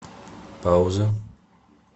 пауза